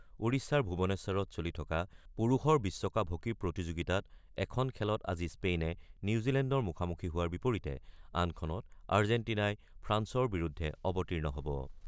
ওড়িশাৰ ভূৱনেশ্বৰত চলি থকা পুৰুষৰ বিশ্বকাপ হকী প্ৰতিযোগিতাত এখন খেলত আজি স্পেইনে নিউজিলেণ্ডৰ মুখামুখি হোৱাৰ বিপৰীতে আনখন আৰ্জেটিনাই ফ্ৰান্সৰ বিৰুদ্ধে অৱতীৰ্ণ হ'ব।